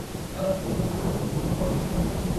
అలా దూరంగా చూస్తూ పాడుతుంది.